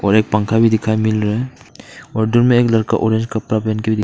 और एक पंखा भी दिखाई मिल रहा है और दूर में एक लड़का ऑरेंज कपड़ा पहन के भी--